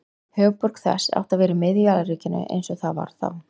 Höfuðborg þess átti að vera í miðju alríkinu eins og það var þá.